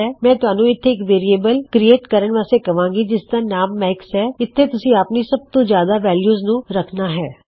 ਮੈਂ ਤੁਹਾਨੂੰ ਇਥੇ ਇੱਕ ਵੇਅਰਿਏਬਲ ਵਾਸਤੇ ਕਵਾਂਗਾ ਜਿਸਦਾ ਨਾਮ ਮੈਕਸ ਹੈ ਅਤੇ ਇਥੇ ਤੁਸੀਂ ਆਪਣੀ ਸਬ ਤੋਂ ਜਿਆਦਾ ਵੈਲਯੂ ਨੂੰ ਪੂਟ ਕਰਨਾ ਹੈ